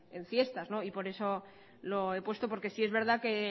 en fiestas no y por eso lo he puesto porque sí que es verdad que